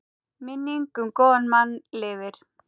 Minning um góðan mann lifir.